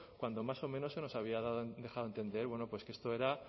cuando más o menos se nos había dejado a entender que esto era